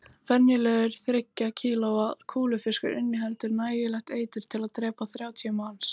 Venjulegur þriggja kílóa kúlufiskur inniheldur nægilegt eitur til að drepa þrjátíu manns